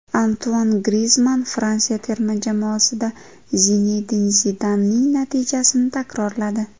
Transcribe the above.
Antuan Grizmann Fransiya terma jamoasida Zinedin Zidanning natijasini takrorladi.